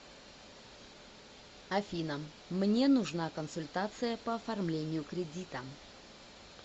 афина мне нужна консультация по оформлению кредита